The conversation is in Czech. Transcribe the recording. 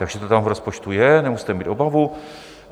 Takže to tam v rozpočtu je, nemusíte mít obavu.